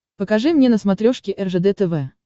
покажи мне на смотрешке ржд тв